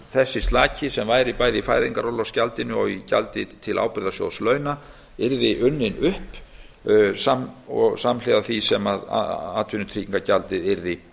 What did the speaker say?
þessi slaki sem væri bæði í fæðingarorlofsgjaldinu og í gjaldi til ábyrgðasjóðs launa yrði unninn upp samhliða því sem atvinnutryggingagjaldið yrði